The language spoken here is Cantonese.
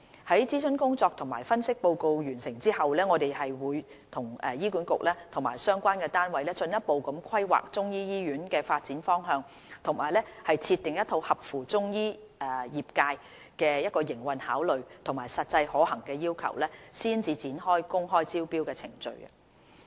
於諮詢工作及分析報告完成後，我們會與醫管局及相關單位進一步規劃中醫醫院的發展方向和設定一套合乎中醫業界的營運考慮和實際可行的要求，才展開公開招標的程序。